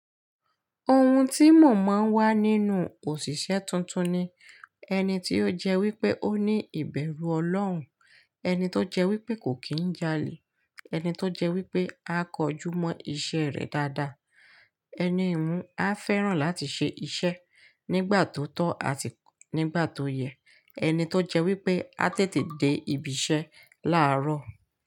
Ohun tí mò máa ń wá nínú òṣìṣẹ́ tuntun ni ẹni tó jẹ́ wípé ó ní ìbẹ̀rù Ọlọ́run, ẹni tó jẹ́ wípé kò kín ń jalè, ẹni tó jẹ́ wípé a kọjú mọ́ iṣẹ́ rẹ̀ dáadáa, ẹni ìhun a fẹ́ràn láti ṣe iṣẹ́ nígbà tó tọ́ àti nígbà tó yẹ, ẹni tó jẹ́ wípé a tètè dé ibi iṣẹ́ láàárọ̀.